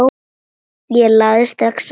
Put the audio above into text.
Ég lagði strax á flótta.